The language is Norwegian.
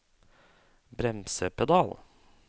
bremsepedal